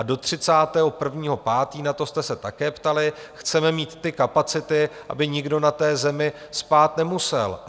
A do 31. 5., na to jste se také ptali, chceme mít ty kapacity, aby nikdo na zemi spát nemusel.